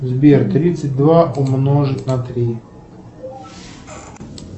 сбер тридцать два умножить на три